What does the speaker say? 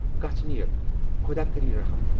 گژھ نیر، خۅداہ کٔری رٔحم۔